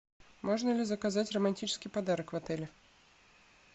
можно ли заказать романтический подарок в отеле